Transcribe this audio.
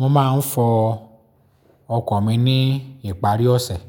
Mo máa ń fọ ọkọ̀ mi ní ìparí ọ̀sẹ̀